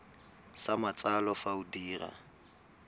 sa matsalo fa o dira